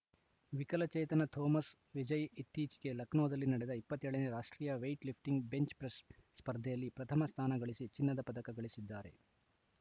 ವಿಕಲಚೇತನ ತೋಮಸ್‌ ವಿಜಯ್‌ ಇತ್ತೀಚೆಗೆ ಲಕ್ನೋದಲ್ಲಿ ನಡೆದ ಇಪ್ಪತ್ತ್ ಏಳ ನೇ ರಾಷ್ಟ್ರೀಯ ವೆಯಿಟ್‌ ಲಿಫ್ಟಿಂಗ್‌ ಬೆಂಚ್‌ ಪ್ರೆಸ್‌ ಸ್ಪರ್ಧೆಯಲ್ಲಿ ಪ್ರಥಮ ಸ್ಥಾನಗಳಿಸಿ ಚಿನ್ನದ ಪದಕ ಗಳಿಸಿದ್ದಾರೆ